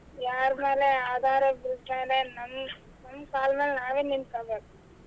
ಯಾರ ಮೇಲೆ ಆದಾರ depend ನಮ್ ನಮ್ ಕಾಲ ಮೇಲ್ ನಾವೇ ನಿಂತೋಕೋಬೇಕು.